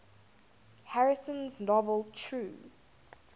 harrison's novel true